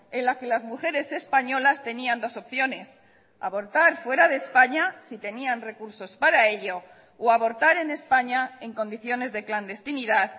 en la que las mujeres españolas tenían dos opciones abortar fuera de españa si tenían recursos para ello o abortar en españa en condiciones de clandestinidad